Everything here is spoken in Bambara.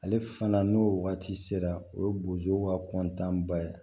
Ale fana n'o waati sera o ye bozow ka kɔntanba ye